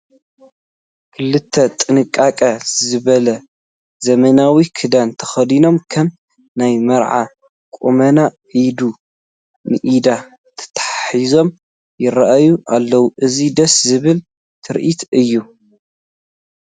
ክልተ ጥንቅቅ ዝበለ ዘመናዊ ክዳን ተኸዲኖም ከም ናይ መርዑ ቁመና ኢድ ንኢድ ተተሓሒዞም ይርአዩ ኣለው፡፡ እዚ ደስ ዝብል ትርኢት እዩ፡፡